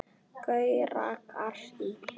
Gaui rakari.